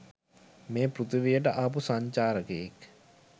මේ පෘතුවියට ආපු සංචාරකයෙක්.